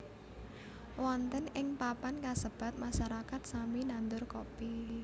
Wonten ing papan kasebat masyarakat sami nandur Kopi